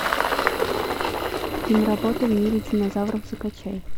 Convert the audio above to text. киноработа в мире динозавров закачай